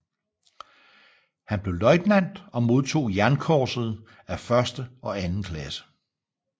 Han blev løjtnant og modtog Jernkorset af første og anden klasse